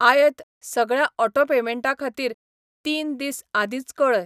आयत सगळ्या ऑटो पेमेंटां खातीर तीन दीस आदींच कळय.